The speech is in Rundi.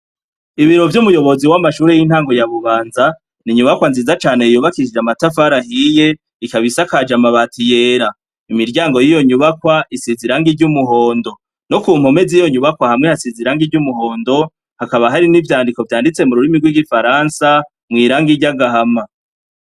Ibiri vy' umuyobozi w' amashure y' intango ya Bubanza, ni inyubakwa nziza cane bubakishije amatafari ahiye, ikaba isakaje amabati yera. Imiryango y' iyo nyubakwa isize irangi ry' umuhondo. No ku mpome ziyo nyubakwa hamwe hasize irangi ry' umuhondo, hakaba hari n' ivyandiko vyanditse mu rurimi rw' igifaransa, mw' irangi ry' agahama.